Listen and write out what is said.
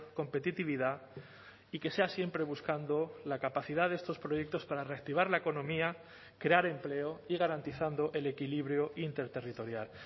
competitividad y que sea siempre buscando la capacidad de estos proyectos para reactivar la economía crear empleo y garantizando el equilibrio interterritorial